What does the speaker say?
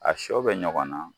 A sɔ bɛ ɲɔgɔn na.